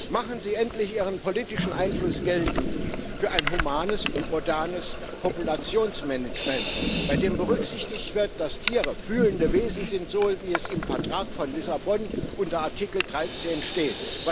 Machen Sie endlich Ihren politischen Einfluss geltend für ein humanes und modernes Populationsmanagement, bei dem berücksichtigt wird, dass Tiere fühlende Wesen sind, so wie es im Vertrag von Lissabon unter Artikel 13 steht!